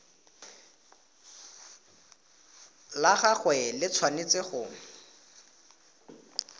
la gagwe le tshwanetse go